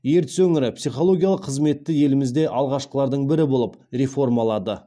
ертіс өңірі психологиялық қызметті елімізде алғашқылардың бірі болып реформалады